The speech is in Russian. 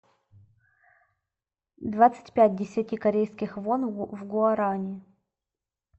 двадцать пять десяти корейских вон в гуарани